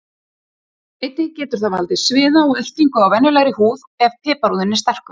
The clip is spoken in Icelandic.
Einnig getur það valdið sviða og ertingu á venjulegri húð ef piparúðinn er sterkur.